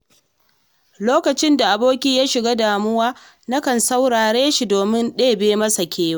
Lokacin da aboki ya shiga damuwa, nakan saurare shi domin ɗebe masa kewa.